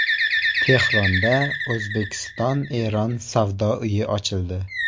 Tehronda O‘zbekistonEron savdo uyi ochildi.